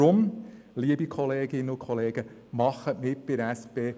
Deshalb, liebe Kolleginnen und Kollegen, machen Sie mit bei der SP!